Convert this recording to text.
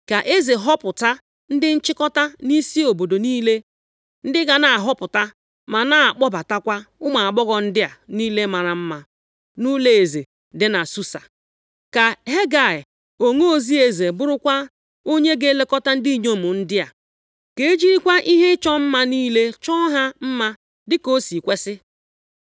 Ka eze họpụta ndị nchịkọta nʼisi obodo niile, ndị ga na-ahọpụta, ma na-akpọbatakwa ụmụ agbọghọ ndị a niile mara mma, nʼụlọeze dị na Susa. Ka Hegai, onozi eze bụrụkwa onye ga-elekọta ndị inyom ndị a. Ka e jirikwa ihe ịchọ mma niile chọọ ha mma dịka o si kwesi.